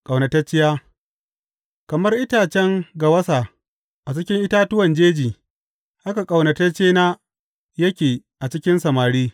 Ƙaunatacciya Kamar itacen gawasa a cikin itatuwan jeji haka ƙaunataccena yake a cikin samari.